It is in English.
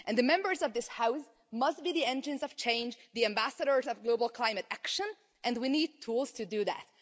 The Members of this House must be the engines of change and the ambassadors of global climate action, and we need tools to do that.